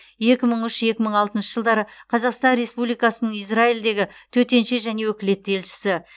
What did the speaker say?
екі мың үш екі мың алтыншы жылдары қазақстан республикасының израильдегі төтенше және өкілетті елшісі